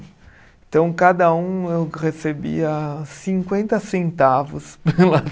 Então, cada um eu recebia cinquenta centavos pela